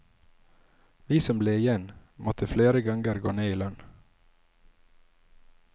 Vi som ble igjen, måtte flere ganger gå ned i lønn.